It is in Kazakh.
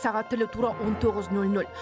сағат тілі тура он тоғыз нөл нөл